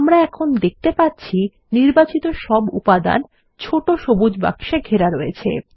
আমরা এখন দেখতে পাচ্ছি সব উপাদান ছোট সবুজ বাক্সে ঘেরা রয়েছে